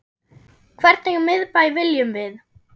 Hvernig miðbæ viljum við?